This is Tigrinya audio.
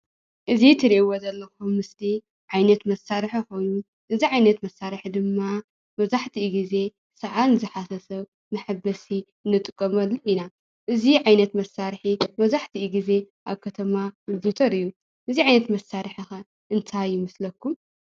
እዚ ትሪእዎ ዘለኹም ምስሊ ዓይነት መሳርሒ ኮይኑ እዚ ዓይነት መሳርሒ ድማ መብዛሕቲኡ ግዜ ሰዓል ንዝሓዞ ሰብ መሕበሲ ንጥቀመሉ ኢና። እዚ ዓይነት መሳርሒ መብዛሕቲኡ ግዜ ኣብ ከተማ ዝዝውተር እዩ። እዚ ዓይነት መሳርሒ ከ እንታይ ይመስለኩም ?